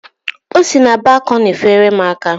O si na balkọni feere m aka.